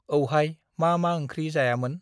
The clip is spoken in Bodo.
औहाय मा मा ओंख्रि जायामोन?